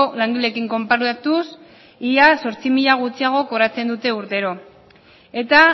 langileekin konparatuz ia zortzi mila gutxiago kobratzen dute urtero eta